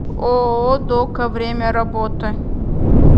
ооо дока время работы